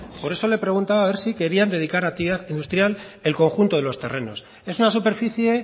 por eso le preguntaba a ver si querían dedicar actividad industrial el conjunto de los terrenos es una superficie